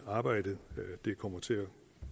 arbejdet kommer til at